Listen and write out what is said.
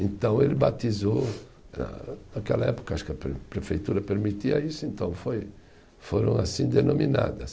Então ele batizou, ah naquela época acho que a pre prefeitura permitia isso, então foi foram assim denominadas.